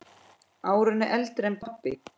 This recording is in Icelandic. Árinu eldri en pabbi.